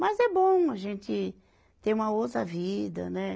Mas é bom a gente ter uma outra vida, né?